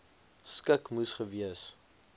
skik moes gewees